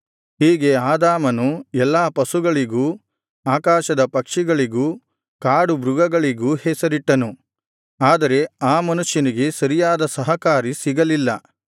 ಹೀಗೆ ಆದಾಮನು ಎಲ್ಲಾ ಪಶುಗಳಿಗೂ ಆಕಾಶದ ಪಕ್ಷಿಗಳಿಗೂ ಕಾಡುಮೃಗಗಳಿಗೂ ಹೆಸರಿಟ್ಟನು ಆದರೆ ಆ ಮನುಷ್ಯನಿಗೆ ಸರಿಯಾದ ಸಹಕಾರಿ ಸಿಗಲಿಲ್ಲ